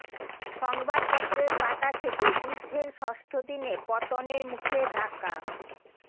সংবাদপত্রের পাতা থেকে যুদ্ধের ষষ্ঠ দিনে পতনের মুখে ঢাকা